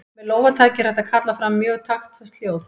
Með lófataki er hægt að kalla fram mjög taktföst hljóð.